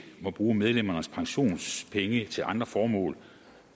må bruge medlemmernes pensionspenge til andre formål